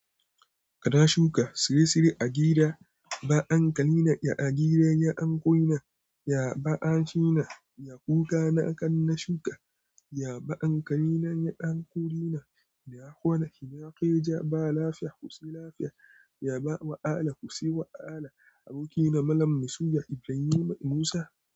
Kana shuka tsire-tsire a gida? Ba ankalina, ya agiran ya ankoina, ya ba'a shina, ya kuka na kan na shuka, ya ba ankalina ya anko ina, ya kona shina keja ba lafiya ku si lafiya, ya ba wa'ala ku si wa'ala. Abokina Malam Musiya Ibrahim Musa.